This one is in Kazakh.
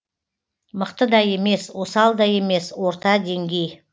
мықты да емес осал да емес орта деңгей